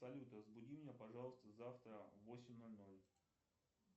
салют разбуди меня пожалуйста завтра в восемь ноль ноль